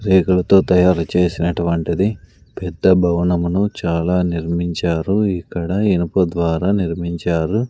రేకులతో తయారు చేసినటువంటిది పెద్ద భవనమును చాలా నిర్మించారు ఇక్కడ ఇనుప ద్వారా నిర్మించారు.